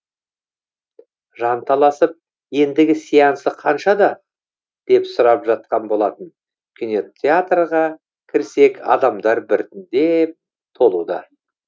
жанталасып ендігі сеансы қаншада деп сұрап жатқан болатын кинотеатрға кірсек адамдар бірітіндеп толуда